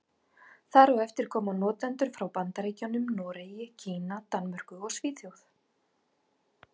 Þar á eftir koma notendur frá Bandaríkjunum, Noregi, Kína, Danmörku og Svíþjóð.